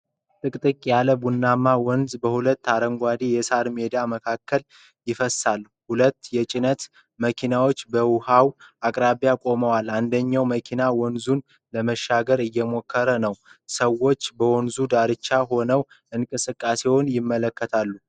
ጥቅጥቅ ያለ ቡናማ ወንዝ በሁለት አረንጓዴ የሳር ሜዳዎች መካከል ይፈሳል። ሁለት የጭነት መኪናዎች በውሃው አቅራቢያ ቆመዋል፣ አንደኛው መኪና ወንዙን ለመሻገር እየሞከረ ነው። ሰዎች በወንዙ ዳርቻ ሆነው እንቅስቃሴውን ይመለከታሉ።